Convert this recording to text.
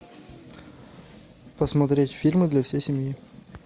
посмотреть фильмы для всей семьи